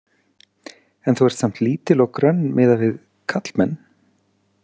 En þú ert samt lítil og grönn miðað við karlmenn.